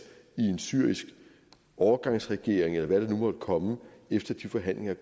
i en syrisk overgangsregering eller hvad det nu måtte komme efter at de forhandlinger